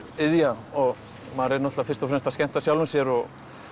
iðja og maður er náttúrulega fyrst og fremst að skemmta sjálfum sér og